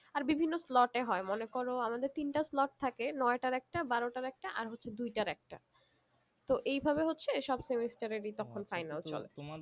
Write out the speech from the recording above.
আর বিভিন্ন slot এ হয়ে মনে করো আমাদের তিনটে slot থাকে নয়টার একটা বারোটার একটা আর হচ্ছে দুইটার একটা তো এই ভাবে হচ্ছে সব semester এরই তখন final চলে